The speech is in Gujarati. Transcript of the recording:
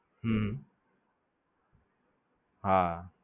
હમ